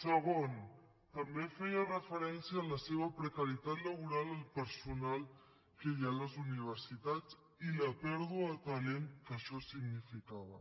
segon també feia referència a la seva precarietat laboral del personal que hi ha a les universitats i la pèrdua de talent que això significava